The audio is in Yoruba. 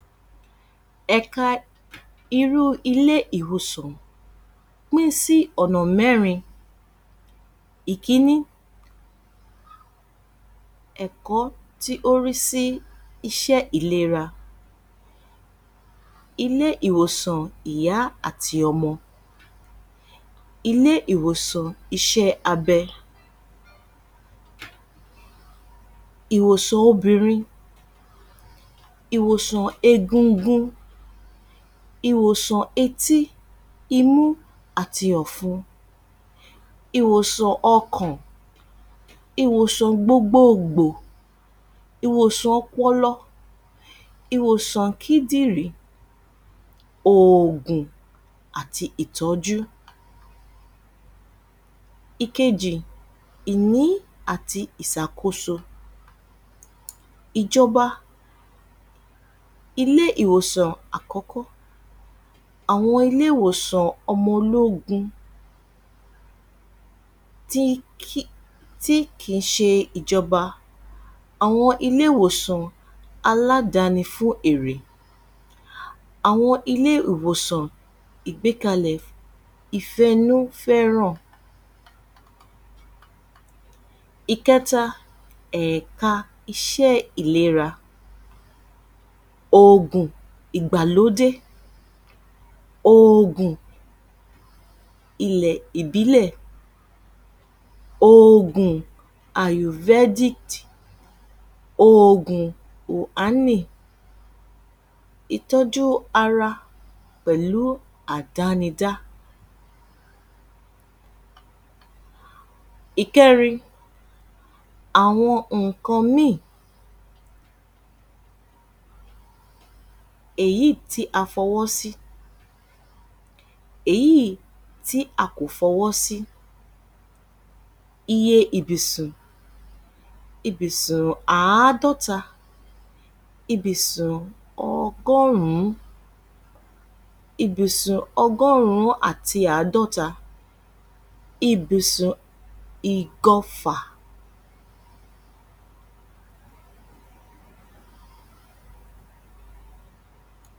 Ẹ̀ka irú ilé ìbùsùn pín sí ọ̀nà mẹ́rin ìkíní, ẹ̀kọ́ tí ó rí sí iṣẹ́ ìlera ilé ìwòsàn ìyá àti ọmọ, ilé ìwòsàn iṣẹ́ abẹ, ìwòsàn etí, ìwòsàn obìnrin, ìwòsàn egungun, etí, imú àti ọ̀fun, ìwòsàn ọkàn, ìwòsàn gbogboogbò ìwòsàn ọpọlọ, ìwòsàn kíndìnrín, òògùn àti ìtọ́jú. Ìkéjì, ìní, àti ìsàkóso, ìjọba ilé ìwòsàn, ọmọ ológun tí kì ń ṣe ìjọba ilé ìwòsàn ọmọ ológun tí kì ń ṣe ìjọba, àwọn ilé Ìwòsàn aládàáni, fún eré àwọn ilé ìwòsàn ìgbékalẹ̀ ìfẹ́ inú fẹ́ràn, ẹìkẹta ẹ̀ka iṣẹ́ ìlera, òògùn ìgbàlódé òògùn ti ìbílẹ̀, òògùn aovedit, òògùn oanì ẹìkẹta ẹ̀ka iṣẹ́ ìlera, òògùn ìgbàlódé òògùn ti ìbílẹ̀, òògùn aovedit, òògùn oanì, ìtọ́jú ara, pẹ̀lú àdánidá, ìkẹrin ẹìkẹta ẹ̀ka iṣẹ́ ìlera, òògùn ìgbàlódé òògùn ti ìbílẹ̀, òògùn aovedit, òògùn oanì ìtọ́jú ara, pẹ̀lú àdánidá, ìkẹrin, àwọn nǹkan míì míì èyí tí a fọwọ́ sí, èyí tí a kò fọwọ́ sí iye ibùsùn àádọ́ta, ìbùsùn ọgọ́rùn-ún, ìbìsùn ọgọ́rùn-ún àti àádọ́ta, ibùsùn igọfà